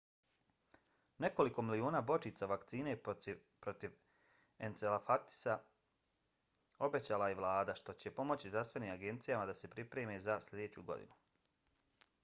nekoliko miliona bočica vakcine protiv encefalitisa obećala je i vlada što će pomoći zdravstvenim agencijama da se pripreme za sljedeću godinu